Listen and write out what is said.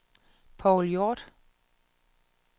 Paul Hjorth